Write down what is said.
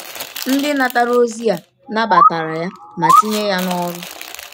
Ndị natara ozi a nabatara ya ma tinye ya n’ọrụ.